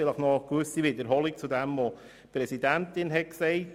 Vielleicht gibt es eine Wiederholung dessen, was die Präsidentin ausgeführt hat.